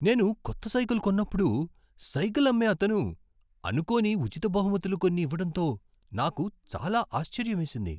నేను కొత్త సైకల్ కొన్నప్పుడు సైకిల్ అమ్మే అతను, అనుకోని ఉచిత బహుమతులు కొన్ని ఇవ్వడంతో నాకు చాలా ఆశ్చర్యమేసింది.